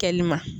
Kɛli ma